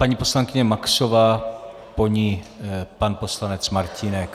Paní poslankyně Maxová, po ní pan poslanec Martínek.